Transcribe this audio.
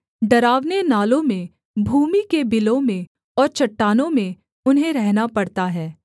डरावने नालों में भूमि के बिलों में और चट्टानों में उन्हें रहना पड़ता है